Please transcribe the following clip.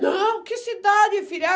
Não, que cidade, filha?